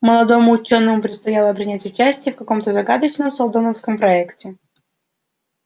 молодому учёному предстояло принять участие в каком-то загадочном сэлдоновском проекте